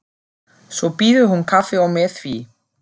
Svo býður hún kaffi og með því.